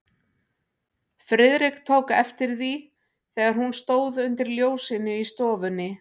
Friðrik tók eftir því, þegar hún stóð undir ljósinu í stofunni.